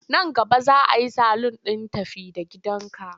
Nan gaba za a yi salun ɗin tafi-da-gidanka.